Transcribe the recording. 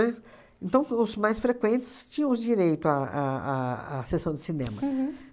Então, os mais frequentes tínhamos o direito à à à à sessão de cinema. Uhum.